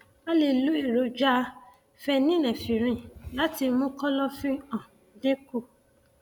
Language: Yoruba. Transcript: a lè lo èròjà phenylnephrine láti mú kọlọfín um dín kù